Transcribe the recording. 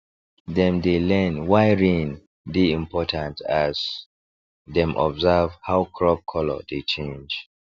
dem dey learn why rain dey important as dem observe how crop colour dey change